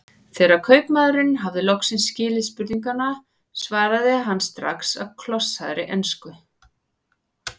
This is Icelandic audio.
Þegar kaupmaðurinn hafði loks skilið spurninguna svaraði hann strax á klossaðri ensku